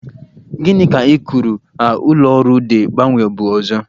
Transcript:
Gị ka i kwuru a ụlọ ọrụ de mgbanwe bụ ọzọ?